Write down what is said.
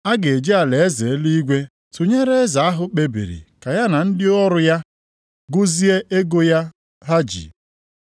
“A ga-eji alaeze eluigwe tụnyere eze ahụ kpebiri ka ya na ndị ọrụ ya gụzie ego ya ha ji.